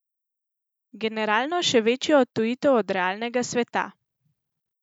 Generalno še večjo odtujitev od realnega sveta.